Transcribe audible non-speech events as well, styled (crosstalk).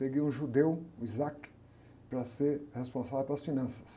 Peguei um judeu, o, (unintelligible) para ser responsável pelas finanças.